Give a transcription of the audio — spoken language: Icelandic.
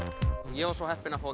ég var svo heppinn að fá